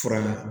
Fura la